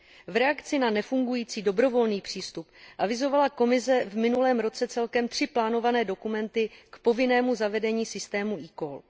V reakci na nefungující dobrovolný přístup avizovala Komise v minulém roce celkem tři plánované dokumenty k povinnému zavedení systému eCall.